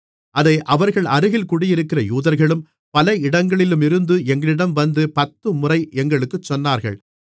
அதை அவர்களருகில் குடியிருக்கிற யூதர்களும் பல இடங்களிலுமிருந்து எங்களிடம் வந்து பத்துமுறை எங்களுக்குச் சொன்னார்கள்